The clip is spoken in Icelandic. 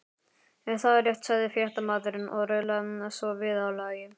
Er það rétt? sagði fréttamaðurinn og raulaði svo viðlagið.